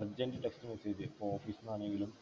Urgent Text message ഇപ്പോ office ന്നാണെങ്കിലും